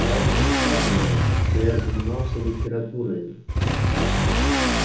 я уже сказывал что я занимался литературою